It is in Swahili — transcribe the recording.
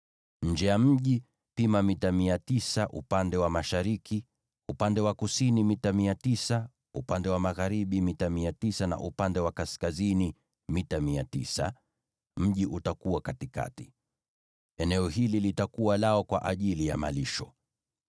Nje ya mji, pima mita 900 upande wa mashariki, upande wa kusini mita 900, upande wa magharibi mita 900, na upande wa kaskazini mita 900, na mji utakuwa katikati. Eneo hili litakuwa lao kwa ajili ya malisho.